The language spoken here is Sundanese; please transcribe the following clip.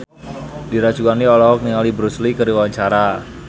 Dira Sugandi olohok ningali Bruce Lee keur diwawancara